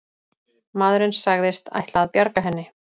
Maðurinn sagðist ætla að bjarga henni